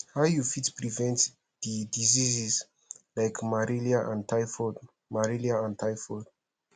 how you fit prevent di diseases like malaria and typhoid malaria and typhoid